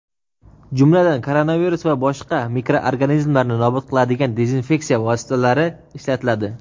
jumladan koronavirus va boshqa mikroorganizmlarni nobud qiladigan dezinfeksiya vositalari ishlatiladi.